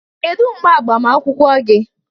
Kedu mgbe agbamakwụkwọ gị?